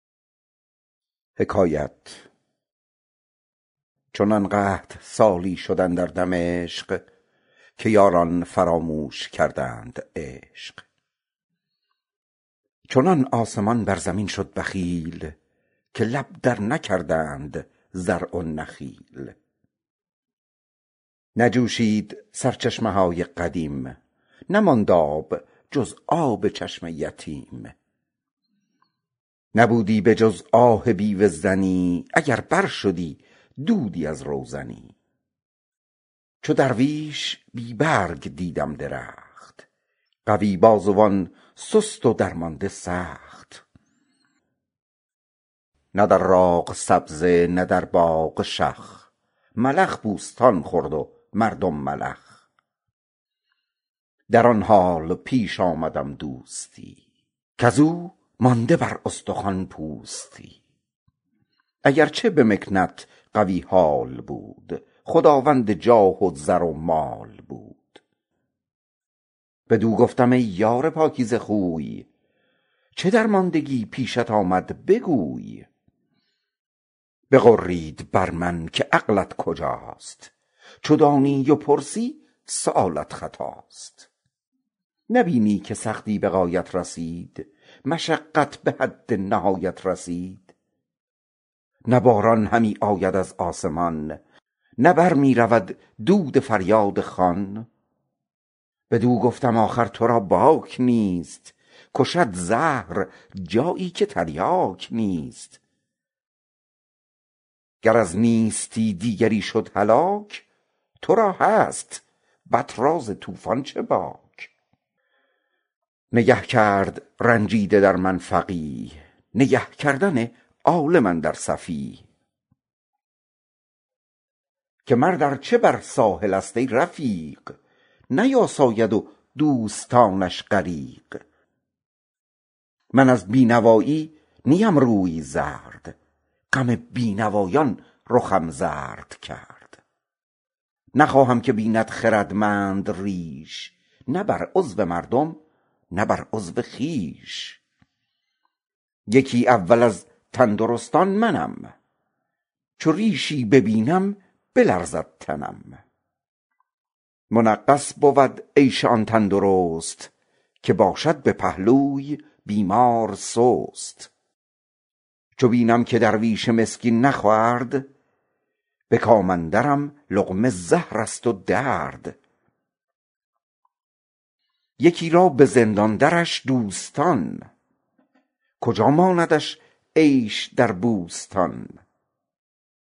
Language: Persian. چنان قحط سالی شد اندر دمشق که یاران فراموش کردند عشق چنان آسمان بر زمین شد بخیل که لب تر نکردند زرع و نخیل بخوشید سرچشمه های قدیم نماند آب جز آب چشم یتیم نبودی به جز آه بیوه زنی اگر بر شدی دودی از روزنی چو درویش بی رنگ دیدم درخت قوی بازوان سست و درمانده سخت نه در کوه سبزی نه در باغ شخ ملخ بوستان خورده مردم ملخ در آن حال پیش آمدم دوستی از او مانده بر استخوان پوستی وگرچه به مکنت قوی حال بود خداوند جاه و زر و مال بود بدو گفتم ای یار پاکیزه خوی چه درماندگی پیشت آمد بگوی بغرید بر من که عقلت کجاست چو دانی و پرسی سؤالت خطاست نبینی که سختی به غایت رسید مشقت به حد نهایت رسید نه باران همی آید از آسمان نه بر می رود دود فریادخوان بدو گفتم آخر تو را باک نیست کشد زهر جایی که تریاک نیست گر از نیستی دیگری شد هلاک تو را هست بط را ز طوفان چه باک نگه کرد رنجیده در من فقیه نگه کردن عالم اندر سفیه که مرد ارچه بر ساحل است ای رفیق نیاساید و دوستانش غریق من از بینوایی نیم روی زرد غم بینوایان رخم زرد کرد نخواهد که بیند خردمند ریش نه بر عضو مردم نه بر عضو خویش یکی اول از تندرستان منم که ریشی ببینم بلرزد تنم منغص بود عیش آن تندرست که باشد به پهلوی بیمار سست چو بینم که درویش مسکین نخورد به کام اندرم لقمه زهر است و درد یکی را به زندان درش دوستان کجا ماندش عیش در بوستان